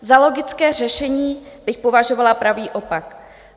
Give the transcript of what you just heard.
Za logické řešení bych považovala pravý opak.